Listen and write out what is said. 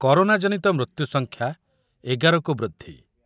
Corona ଜନିତ ମୃତ୍ୟୁସଂଖ୍ୟା ଏଗାର କୁ ବୃଦ୍ଧି ।